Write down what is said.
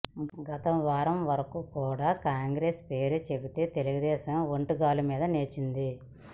గత వారం వరకు కూడా కాంగ్రెస్ పేరు చెబితే తెలుగుదేశం ఒంటిగాలు మీద లేచేది